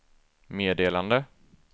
meddelande